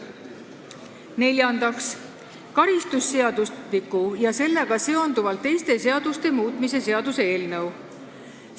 Neljandaks, karistusseadustiku ja sellega seonduvalt teiste seaduste muutmise seaduse eelnõu.